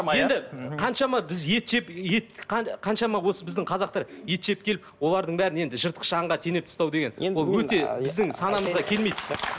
енді қаншама біз ет жеп ет қаншама осы біздің қазақтар ет жеп келіп олардың бәрін енді жыртқыш аңға теңеп тастау деген ол өте біздің санамызға келмейді